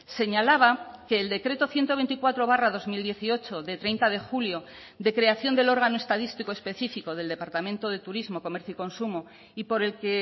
señalaba que el decreto ciento veinticuatro barra dos mil dieciocho de treinta de julio de creación del órgano estadístico específico del departamento de turismo comercio y consumo y por el que